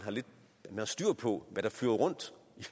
har styr på hvad der flyver rundt